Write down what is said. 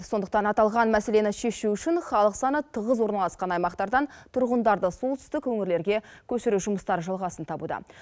сондықтан аталған мәселені шешу үшін халық саны тығыз орналасқан аймақтардан тұрғындарды солтүстік өңірлерге көшіру жұмыстары жалғасын табуда